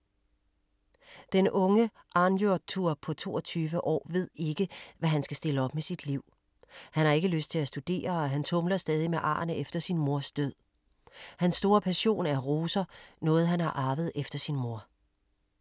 Den unge Arnljotur på 22 år ved ikke, hvad han skal stille op med sit liv. Han har ikke lyst til at studere og han tumler stadig med arrene efter sin mors død. Hans store passion er roser, noget han har arvet efter sin mor.